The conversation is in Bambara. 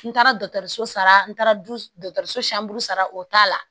N taara dɔtɔrɔso sara n taara dutɔro so sara o t'a la